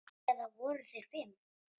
Eða voru þeir fimm?